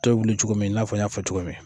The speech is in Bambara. wuli cogo min, i n'a fɔ n y'a fɔ cogo min